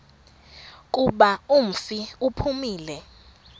kuba umfi uphumile